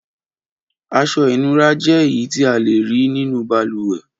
Aṣọ-ìnura jẹ́ èyí tí a le rí nínú balùwẹ̀.